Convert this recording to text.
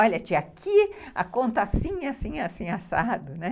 Olha, tinha aqui a conta assim, assim, assim, assado, né.